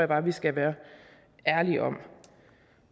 bare vi skal være ærlige om